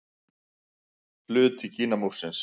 Hluti Kínamúrsins.